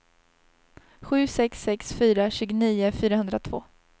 sju sex sex fyra tjugonio fyrahundratvå